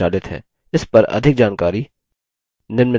इस पर अधिक जानकारी निम्न लिंक पर उपलब्ध है